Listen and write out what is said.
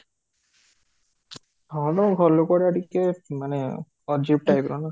ଟିକେ ମାନେ type ର ନା?